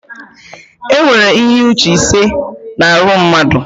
Enwere ihe uche ise na arụ mmadụ